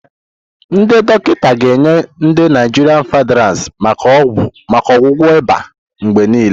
Ndị dọkịta ga-enye ndi Naijiria Fansidar maka ọgwụgwọ ịba mgbe niile.